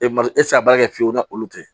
E ma e tɛ se ka baara kɛ fiyewu ni olu tɛ